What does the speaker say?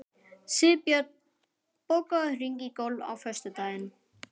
Sigbjörn, bókaðu hring í golf á föstudaginn.